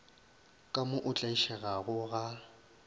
ka mo o tlaišegago ga